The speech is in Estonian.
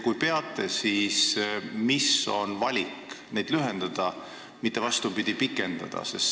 Kui peate, siis miks on tehtud valik seda aega lühendada, mitte vastupidi, pikendada?